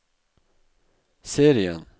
serien